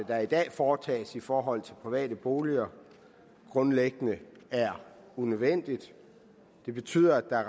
der i dag foretages i forhold til private boliger er grundlæggende unødvendigt det betyder at